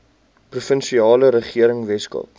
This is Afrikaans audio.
provinsiale regering weskaap